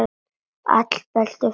Allt Bellu frænku að kenna.